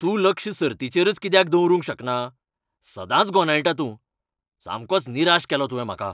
तूं लक्ष सर्तीचेरच कित्याक दवरूंक शकना? सदांच गोंदळटा तूं. सामकोच निराश केलो तुवें म्हाका.